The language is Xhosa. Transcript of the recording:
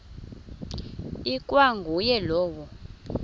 ikwa nguye lowo